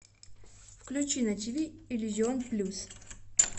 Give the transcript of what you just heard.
включи на тиви иллюзион плюс